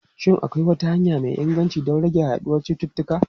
Shin akwai wata hanya mai inganci don rage yaduwar cututtuka?